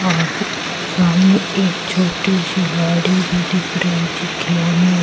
और सामने एक छोटी सी गाड़ी भी दिख रही जो खिलौने--